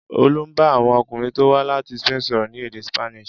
Olú bá àwọn ọkùnrin tó wá láti Spain sọ̀rọ̀ ní èdè Spanish.